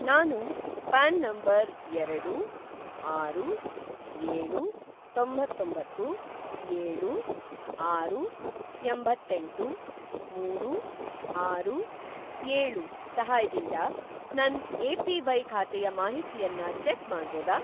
ನಾನು PAN number ಎರಡು, ಆರು, ಏಳುತೊಂಬತ್ತೊಂಬತ್ತು, ಏಳು, ಆರು, ಎಂಬತ್ತೆಂಟು, ಮೂರು, ಆರು, ಏಳು ಸಹಾಯದಿಂದ ನನ್‌ ಎ.ಪಿ.ವೈ. ಖಾತೆಯ ಮಾಹಿತಿಯನ್ನ ಚೆಕ್‌ ಮಾಡ್ಬೋದಾ?